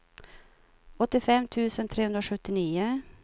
åttiofem tusen trehundrasjuttionio